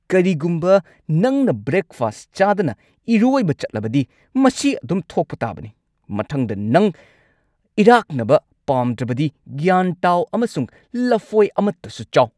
ꯀꯔꯤꯒꯨꯝꯕ ꯅꯪꯅ ꯕ꯭ꯔꯦꯛꯐꯥꯁꯠ ꯆꯥꯗꯅ ꯏꯔꯣꯢꯕ ꯆꯠꯂꯕꯗꯤ ꯃꯁꯤ ꯑꯗꯨꯝ ꯊꯣꯛꯄ ꯇꯥꯕꯅꯤ꯫ ꯃꯊꯪꯗ ꯅꯪ ꯏꯔꯥꯛꯅꯕ ꯄꯥꯝꯗ꯭ꯔꯕꯗꯤ ꯒ꯭ꯌꯥꯟ ꯇꯥꯎ ꯑꯃꯁꯨꯡ ꯂꯐꯣꯏ ꯑꯃꯇꯁꯨ ꯆꯥꯎ꯫